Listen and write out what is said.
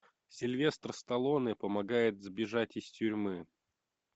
сильвестр сталлоне помогает сбежать из тюрьмы